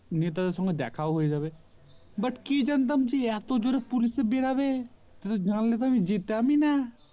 নেতাদের সঙ্গে দেখাও হয়ে যাবে but কি জানতাম যে এতো জোরে police এ বেড়াবে জানলে তো আমি যেতামি না